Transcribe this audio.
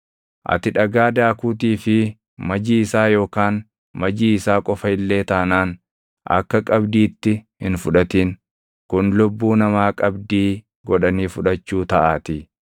Ati dhagaa daakuutii fi majii isaa yookaan majii isaa qofa illee taanaan akka qabdiitti hin fudhatin; kun lubbuu namaa qabdii godhanii fudhachuu taʼaatii.